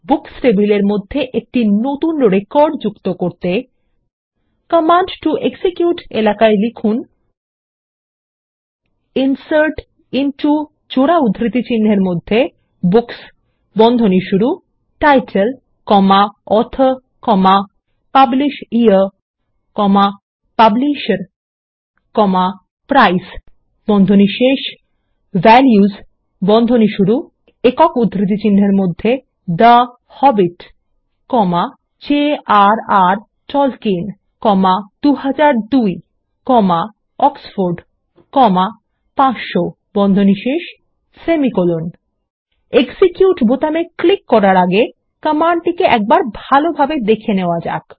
books টেবিলের মধ্যে একটি নতুন রেকর্ড যুক্ত করতে কমান্ড টো এক্সিকিউট এলাকায় লিখুন160 insert into books title author publisher publisher price values the Hobbit jrরের টলকিয়েন 2002 অক্সফোর্ড 500 এক্সিকিউট বোতামে ক্লিক করার আগে কমান্ডটিকে একবার ভালোভাবে দেখে নেওয়া যাক